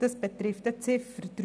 das betrifft die Ziffer 3.